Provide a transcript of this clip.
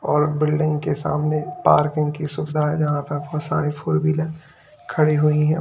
और बिल्डिंग के सामने पार्किंग की सुविधा है जहां पर बहुत सारी फोर व्हीलर खड़ी हुई है।